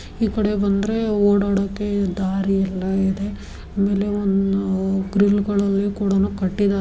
ಈಕಡೆ ಬಂದ್ರೆ ಓಡಾಡೋಕೆ ದಾರಿಯೆಲ್ಲಾ ಇದೆ ಆಮೇಲೆ ಒಂದು ಗ್ರಿಲ್ ಗಳಲ್ಲಿ ಕೂಡಾ ಕಟ್ಟಿದ --